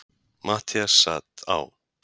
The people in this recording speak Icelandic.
Matthías sat á